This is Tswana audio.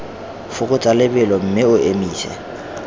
fokotsa lebelo mme o emise